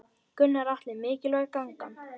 Gunnar Atli: Mikilvæg gangan?